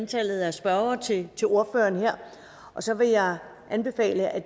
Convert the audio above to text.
antallet af spørgere til til ordføreren her og så vil jeg anbefale at